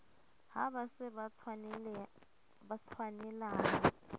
ha ba se ba tshwanelaha